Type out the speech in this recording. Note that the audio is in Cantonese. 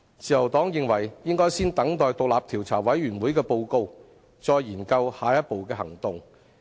自由黨認為應該先等待調查委員會的報告，再研究下一步的行動。